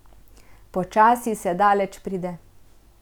Počasi se daleč pride.